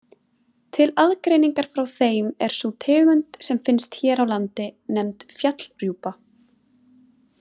Til aðgreiningar frá þeim er sú tegund sem finnst hér á landi nefnd fjallrjúpa.